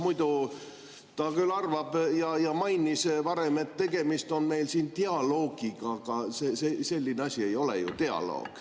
Muidu ta küll arvab ja mainis varem, et tegemist on meil siin dialoogiga, aga selline asi ei ole ju dialoog.